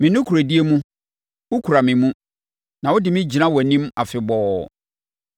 Me nokorɛdie mu, wokura me mu na wode me gyina wʼanim afebɔɔ.